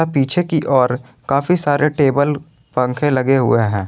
पीछे की ओर काफी सारे टेबल पंखे लगे हुए हैं।